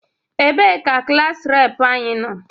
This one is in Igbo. Ebee ka Klaas reepụ anyị nọ?